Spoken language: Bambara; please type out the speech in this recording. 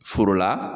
Foro la